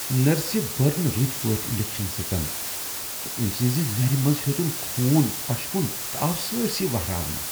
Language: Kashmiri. نرسہِ بٔر نہٕ رٕتۍ پٲٹھۍ انجكشن سٕژن تہٕ أمۍ سنزِ نرِ منزٕ ہیوٚتن خون پشپٗن تہٕ آو سٲرِسٕے واہراونہٕ ۔